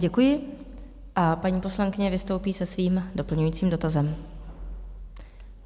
Děkuji a paní poslankyně vystoupí se svým doplňujícím dotazem.